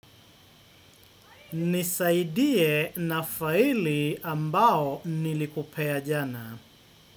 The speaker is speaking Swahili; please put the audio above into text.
Nisaidie na faili ambao nilikupea jana.